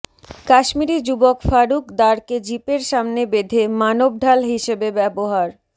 কাশ্মিরি যুবক ফারুক দারকে জিপের সামনে বেধে মানবঢাল হিসেবে ব্যবহার